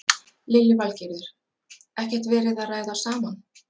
Lillý Valgerður: Ekkert verið að ræða saman?